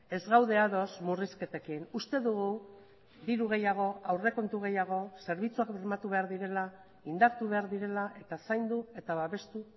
ez gaude ados murrizketekin uste dugu diru gehiago aurrekontu gehiago zerbitzuak bermatu behar direla indartu behar direla eta zaindu eta babestu